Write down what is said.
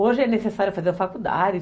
Hoje é necessário fazer a faculdade.